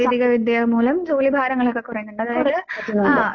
സ അതുകൊണ്ട്